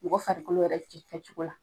Mɔgɔ farikolo yɛrɛ ti kɛ cogo la.